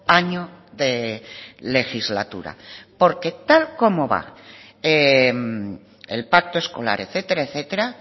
año de legislatura porque tal como va el pacto escolar etcétera etcétera